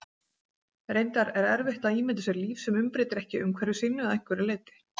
Reyndar er erfitt að ímynda sér líf sem umbreytir ekki umhverfi sínu að einhverju leyti.